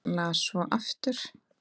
Las svo aftur.